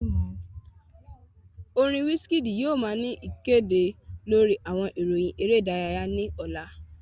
Orin Wizkid yoo wa ni ikede lori awọn iroyin ere idaraya ni ọla.